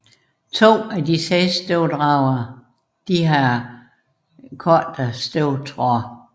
To af de seks støvdragere har kortere støvtråde